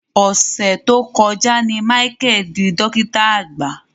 Ọ̀sẹ̀ tó kọjá ni Michael dí dọ́kìtà àgbà.